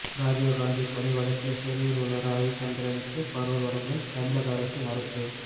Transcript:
ராஜிவ்காந்தி கொலை வழக்கில் சிறையில் உள்ள ரவிச்சந்திரனுக்கு பரோல் வழங்க தமிழக அரசு மறுப்பு